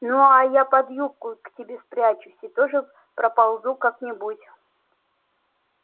ну а я под юбку к тебе спрячусь и тоже проползу как-нибудь